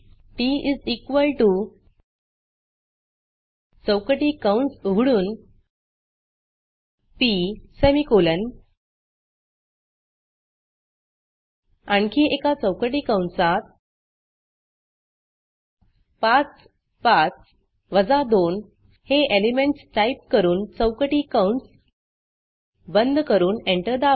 TT चौकटी कंस उघडून पी सेमीकोलन आणखी एका चौकटी कंसात 5 5 2 हे एलिमेंटस टाईप करून चौकटी कंस बंद करून एंटर दाबा